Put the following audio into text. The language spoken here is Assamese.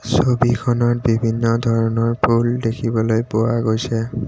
ছবিখনত বিভিন্ন ধৰণৰ ফুল দেখিবলৈ পোৱা গৈছে।